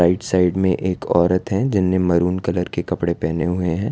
Right side में एक औरत है जिन्हें मैरून कलर के कपड़े पहने हुए हैं।